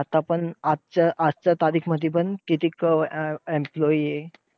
आता पण आज आजच्या तारीखमध्ये पण कितीक employee आहे.